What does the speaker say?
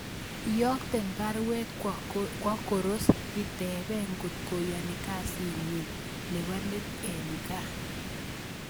Iyokten baruet kwo Koros itebee kot koyoni kasinyin nebo let en kaa